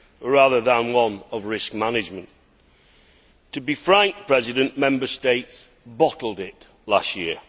rather than one of risk management. To be frank, Mr President, Member States bottled it last year.